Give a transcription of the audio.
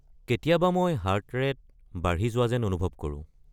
কেতিয়াবা মই heart rate বাঢ়ি যোৱা যেন অনুভৱ কৰোঁ।